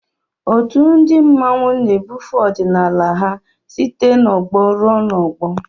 Otù ndị mmanwu na-ebufe ọdịnala ha site n'ọgbọ ruo n'ọgbọ